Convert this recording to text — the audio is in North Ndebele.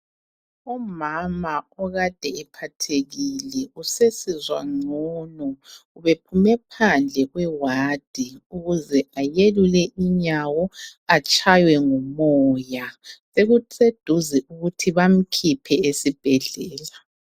Umama okade ephathekile. Usesizwa ngcono ubephume phandle kwewadi ukuze ayelule inyawo atshaywe ngumoya sekuseduze ukuthi bamkhiphe esibhedlela